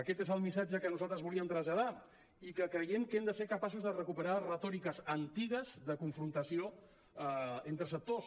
aquest és el missatge que nosaltres volíem traslladar i que creiem que hem de ser capaços de recuperar retòriques antigues de confrontació entre sectors